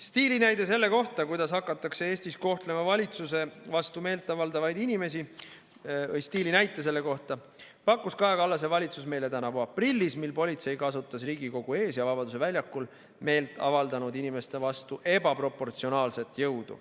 Stiilinäite selle kohta, kuidas hakatakse Eestis kohtlema valitsuse vastu meelt avaldavaid inimesi, pakkus Kaja Kallase valitsus meile tänavu aprillis, kui politsei kasutas Riigikogu ees ja Vabaduse väljakul meelt avaldanud inimeste vastu ebaproportsionaalset jõudu.